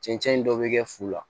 Cɛncɛn dɔ bɛ kɛ fu la